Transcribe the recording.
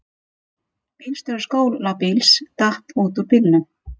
Bílstjóri skólabíls datt út úr bílnum